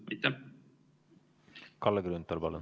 Kalle Grünthal, palun!